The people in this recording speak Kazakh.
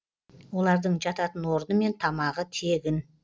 олардың жататын орны мен тамағы тегін